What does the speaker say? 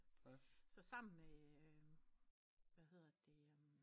Så sammen med hvad hedder det